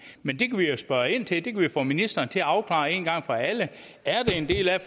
men det kan vi jo spørge ind til det kan vi få ministeren til at afklare en gang for alle er det en del af